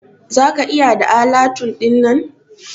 Za ka iya da alatu dinnan?